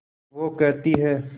वो कहती हैं